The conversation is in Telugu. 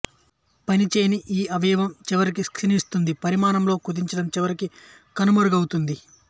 పని చేయని ఈ అవయవం చివరికి క్షీణిస్తుంది పరిమాణంలో కుదించడం చివరికి కనుమరుగవుతుంది